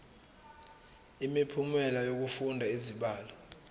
imiphumela yokufunda izibalo